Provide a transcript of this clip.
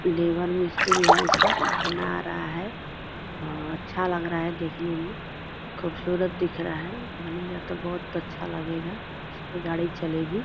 लेबर मिस्त्री है सब बना रहा है और अच्छा लग रहा है देखने में खुबसुरत दिख रहा है बनेगा तो बहोत अच्छा लगेगा उसपे गाड़ी चलेगी।